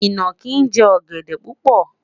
inaki jẹ ogede pupo